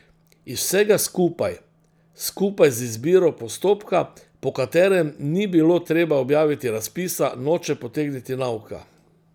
Iz vsega skupaj, skupaj z izbiro postopka, po katerem ni bilo treba objaviti razpisa, noče potegniti nauka.